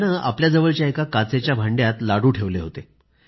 त्यानं आपल्याजवळच्या एका काचेच्या भांड्यात लाडू ठेवले होते